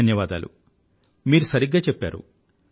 ధన్యవాదాలు మీరు సరిగ్గా చెప్పారు